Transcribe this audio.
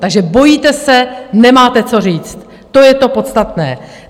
Takže bojíte se, nemáte co říct, to je to podstatné.